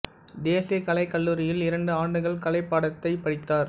தேசிய கலைக் கல்லூரியில் இரண்டு ஆண்டுகள் கலை பாடத்தைப் படித்தார்